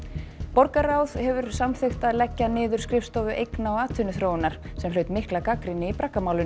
borgarráð hefur samþykkt að leggja niður skrifstofu eigna og atvinnuþróunar sem hlaut mikla gagnrýni í